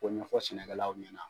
K'o ɲɛfɔ sɛnɛkɛ law ɲɛna.